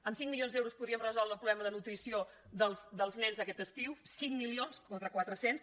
amb cinc milions d’euros podríem resoldre el problema de nutrició dels nens aquest estiu cinc milions contra quatre cents